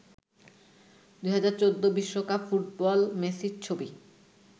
২০১৪ বিশ্বকাপ ফুটবল মেসির ছবি